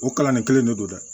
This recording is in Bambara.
O kalan nin kelen de don dɛ